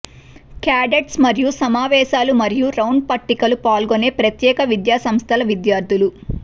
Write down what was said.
cadets మరియు సమావేశాలు మరియు రౌండ్ పట్టికలు పాల్గొనే ప్రత్యేక విద్యా సంస్థల విద్యార్థులు